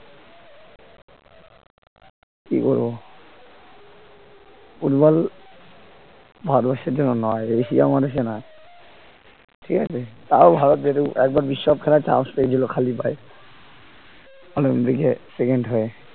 কি করবো ফুটবল ভারতবর্ষের জন্য নয় এশিয়া মহাদেশে নয় ঠিক আছে তাও ভারত যেহেতু একবার বিশ্বকাপ খেলাই chance পেয়েছিল খালি পায়ে অলিম্পিকে second হয়ে